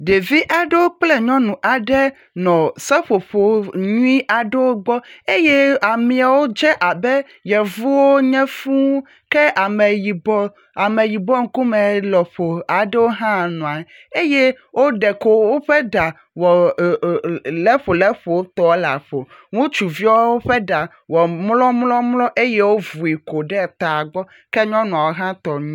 Ɖevi aɖewo kple nyɔnu aɖe nɔ seƒoƒo nyui aɖewo gbɔ eye ameaowo dze abe yevuwo nye fũu ke ameyibɔ.. Ameyibɔ ŋkume lɔƒo aɖewo hã nɔa eye wo ɖe kowo ƒe ɖa wɔ ee ee ee leƒoleƒotɔ la ƒo ŋutsuviwo ƒe ɖa wɔ mlɔmlɔmlɔ eye wovui kɔ ɖe tagbɔ ke nyɔnuwo ha tɔ.